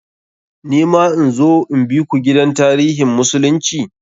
Ni ma in zo in biku gidan tarihin musulunci?